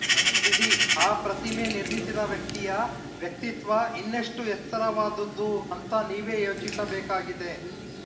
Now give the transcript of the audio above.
ಅದು ಬಿಡಿ ಆ ಪ್ರತಿಮೆ ನಿರ್ಮಿಸಿದ ವ್ಯಕ್ತಿಯ ವ್ಯಕ್ತಿತ್ವ ಇನ್ನೆಷ್ಟುಎತ್ತರವಾದುದು ಅಂತ ನೀವೇ ಯೋಚಿಸಬೇಕಾಗಿದೆ